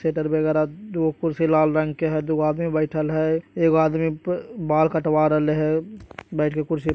Shutter वगेरा दुगो कुर्सी लाल रंग के हैं दुगो आदमी बैठल हैं एगो आदमी प बाल कटवा रहिल हये बइठ के कुर्सी पे ।